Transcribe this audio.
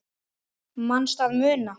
Manstu að muna?